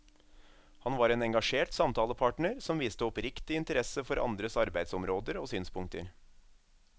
Han var en engasjert samtalepartner som viste oppriktig interesse for andres arbeidsområder og synspunkter.